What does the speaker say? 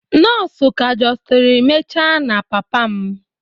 Nọọsụ ka justiri mecha na papa m.